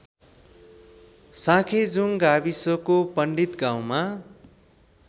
साँखेजुङ गाविसको पण्डितगाउँमा